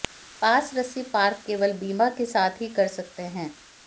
पास रस्सी पार्क केवल बीमा के साथ ही कर सकते हैं